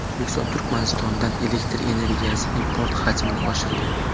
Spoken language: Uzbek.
O‘zbekiston Turkmanistondan elektr energiyasi import hajmini oshirdi.